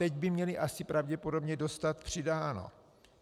Teď by měly asi pravděpodobně dostat přidáno.